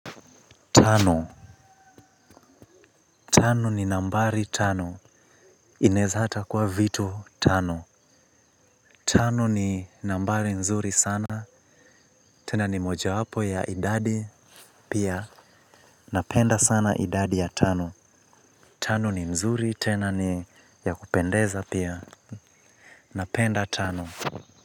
Tano ni nambari tano Inezata kuwa vitu tano. Tano ni nambari nzuri sana. Tena ni moja hapo ya idadi pia napenda sana idadi ya tano. Tano ni nzuri tena ni ya kupendeza pia. Napenda tano.